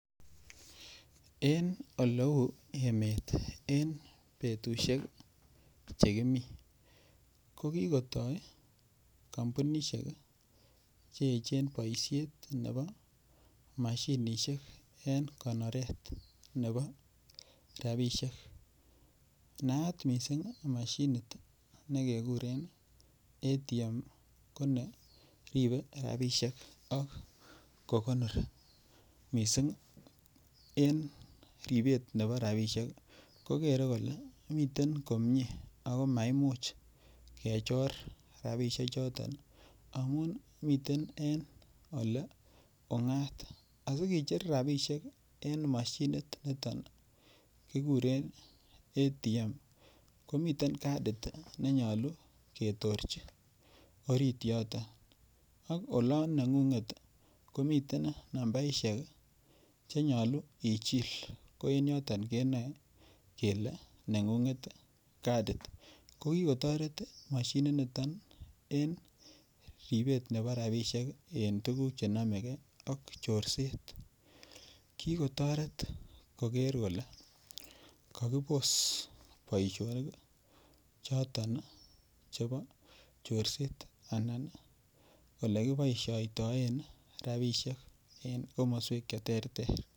En olou emet en betushek chekimi ko kikotoi kampunishek cheechen boishet nebo mashinishek en konoret nebo rabishek naat mising' mashinit nekekuren ATM ko ne ribei robishek ak konori mising' en ribet nebo rabishek kokere kole miten komyee ako maimuch kechor rabishe choton amun meten ole ung'at asikecher rabishek en mashinit niton kikuren ATM komiten kadit nenyolu ketorjin orit yoto ak olon neng'unget komiten nambaishek chenyolu ichil ko ing' yoton kenoei kele neng'unget kadit ko kikotoret mashinit noton en ribet nebo rabishek eng' tukuk chenomegei ak chorset kikotoret koker kole kakibos boishonik choton chebo chorset anan ole kiboishoitoi rabishek eng' komoswek cheterter